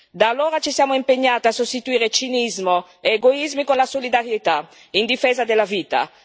Da allora ci siamo impegnati a sostituire cinismo ed egoismi con la solidarietà, in difesa della vita.